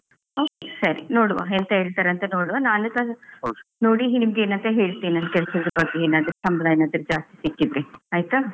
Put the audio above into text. Okay ಸರಿ ನೋಡುವ ಎಂತ ಹೇಳ್ತಾರಂತ ನೋಡುವ ನಾನುಸ ನೋಡಿ ನಿಮ್ಗೆ ಏನಂತ ಹೇಳ್ತೇನೆ ಏನಾದ್ರೂ ಸಂಬಳ ಏನಾದ್ರೂ ಜಾಸ್ತಿ ಸಿಕ್ಕಿದ್ರೆ, ಆಯ್ತಾ?